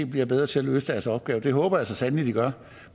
bliver bedre til at løse deres opgaver det håber jeg så sandelig de gør